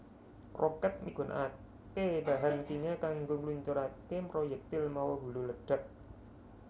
Rokèt migunakaké bahan kimia kanggo ngluncuraké proyektil mawa hulu ledhak